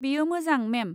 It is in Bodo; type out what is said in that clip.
बेयो मोजां, मेम।